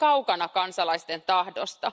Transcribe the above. Se on kaukana kansalaisten tahdosta.